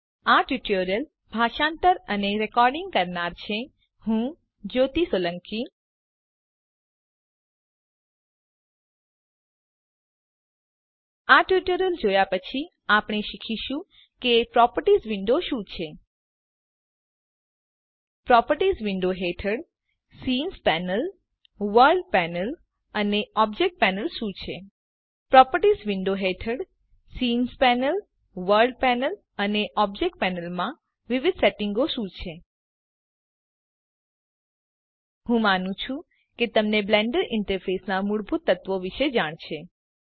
આ ટ્યુટોરીયલ જોયા પછી આપણે શીખીશું કે પ્રોપર્ટીઝ વિન્ડો શું છે પ્રોપર્ટીઝ વિન્ડો હેઠળ સીન પેનલ વર્લ્ડ પેનલ અને ઓબ્જેક્ટ પેનલ શું છે પ્રોપર્ટીઝ વિન્ડો હેઠળ સીન પેનલ વર્લ્ડ પેનલ અને ઓબ્જેક્ટ પેનલ માં વિવિધ સેટિંગો સુયોજનો શું છે હું માનું છુ કે તમને બ્લેન્ડર ઈન્ટરફેસનાં મૂળભૂત તત્વો વિશેની જાણ છે